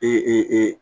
Ee